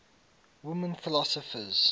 women philosophers